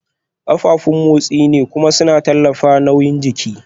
Kafafun motsi ne kuma suna tallafawa nauyin jiki